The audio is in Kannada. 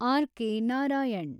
R K Narayan